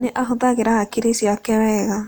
Nĩ ahũthagĩra hakiri ciake wega.